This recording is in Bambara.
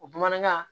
O bamanankan